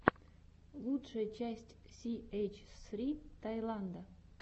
лучшая часть си эйч ссри таиланда